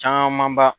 Camanba